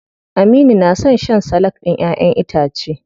Aminu na son shan salak ɗin ƴaʼƴen itace.